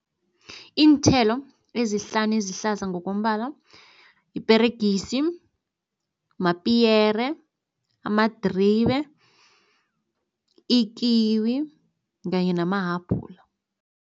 Iinthelo ezihlanu ezihlaza ngokombala iperegisi, mapiyere, amadribe, ikiwi kanye namahabhula.